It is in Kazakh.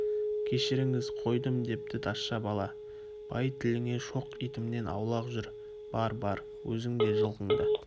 кешіріңіз қойдым депті тазша бала бай тіліңе шоқ итімнен аулақ жүр бар-бар өзің де жылқың да